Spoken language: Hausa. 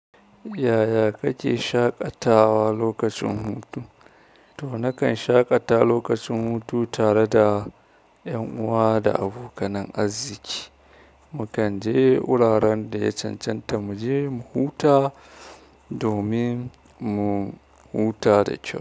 Yaya kake shaƙatawa lokacin hutu? To, nakan shaƙata lokacin hutu tare da ƴan uwa da abokanan arziki. Mukan je wuraren da ya cancanta mu je mu huta domin mu huta da kyau.